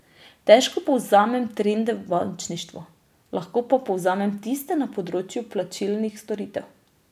Težko povzemam trende v bančništvu, lahko pa povzamem tiste na področju plačilnih storitev.